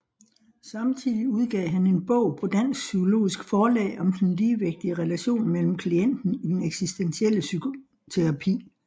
Samtidig udgav han en bog på Dansk Psykologisk Forlag om den ligeværdige relation med klienten i den eksistentielle psykoterapi